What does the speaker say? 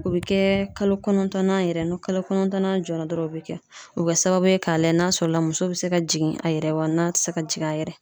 O be kɛ kalo kɔnɔntɔnnan yɛrɛ ni kalo kɔnɔntɔnnan jɔla dɔrɔn o bɛ kɛ . O be kɛ sababu ye ka lajɛ n'a sɔrɔla muso bɛ se ka jigin a yɛrɛ wa n'a te se ka jigin a yɛrɛ ye.